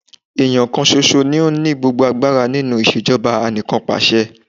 Èèyàn kan ṣoṣo ni ó ni gbogbo agbára nínú ìṣèjọba anìkànpàṣe.